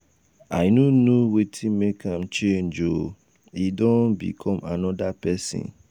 i um no know wetin make am change oo e don um become another person um